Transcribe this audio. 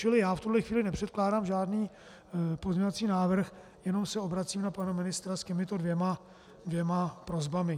Čili já v tuhle chvíli nepředkládám žádný pozměňovací návrh, jenom se obracím na pana ministra s těmito dvěma prosbami.